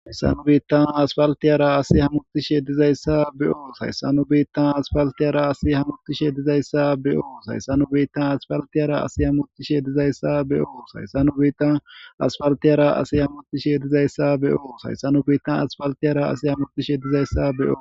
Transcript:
ayssanu biittan asfaltiyara asi hammutishe dizayssa be7oo hayssanu biittan asfaltiyara asi hamutishe dizayssa be7oo sayssanu biittan asfaltiyara asi hammutishe dizayssa be7oo sayssanu biittan asfaltiyara asi hamutishe dizayssa be7o sayssanu biittan asfaltiyara asi hamutishe dizayssa be7o